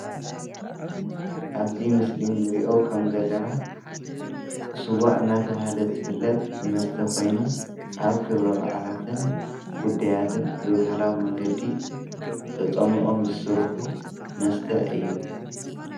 ኣብዚ ንሪኦ ከም ዘለና ስዋ እናተብሃለ ዝፍለጥ መስተ ኮይኑ ኣብ ክብረ በዓላትን ጉዳያትን ብባህላዊ መንገዲ ተፀሚቖም ዝስርሑ መስተ እዩ።